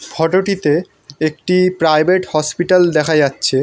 ফোটোটিতে একটি private hospital দেখা যাচ্ছে।